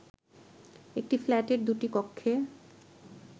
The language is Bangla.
একটি ফ্ল্যাটের দুটি কক্ষে